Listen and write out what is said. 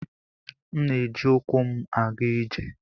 M na-eji ụkwụ m aga ije.